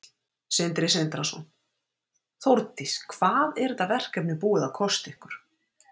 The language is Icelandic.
Sindri Sindrason: Þórdís, hvað er þetta verkefni búið að kosta ykkur?